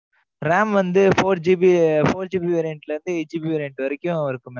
RAM வந்து, four GB eight GB variant ல இருந்து, variant வரைக்கும், இருக்கும் mam